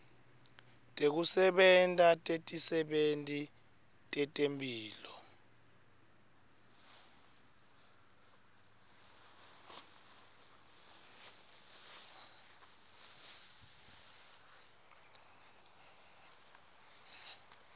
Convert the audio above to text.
tekusebenta tetisebenti tetemphilo